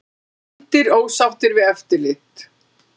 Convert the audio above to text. Blindir ósáttir við eftirlit